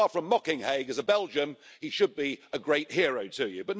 Far from mocking Haig, as a Belgian, he should be a great hero to you.